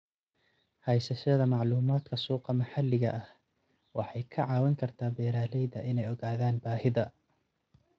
Haysashada macluumaadka suuqa maxalliga ah waxay ka caawin kartaa beeralayda inay ogaadaan baahida.